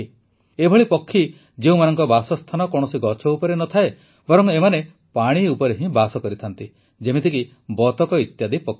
ଏଭଳି ପକ୍ଷୀ ଯେଉଁମାନଙ୍କ ବାସସ୍ଥାନ କୌଣସି ଗଛ ଉପରେ ନ ଥାଏ ବରଂ ଏମାନେ ପାଣି ଉପରେ ହିଁ ବାସ କରିଥାନ୍ତି ଯେମିତିକି ବତକ ଇତ୍ୟାଦି ପକ୍ଷୀ